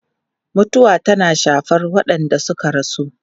Mutuwa tana shafar waɗanda suka rasu.